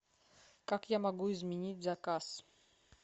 как я могу изменить заказ